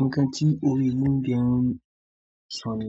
Nǹkan tí òwe yìí dẹ̀n sọ ni.